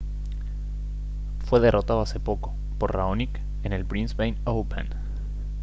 fue derrotado hace poco por raonic en el brisbane open